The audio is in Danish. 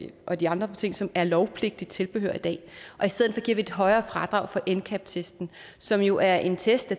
og de andre ting som er lovpligtigt tilbehør i dag og i stedet giver vi et højere fradrag for ncap testen som jo er en test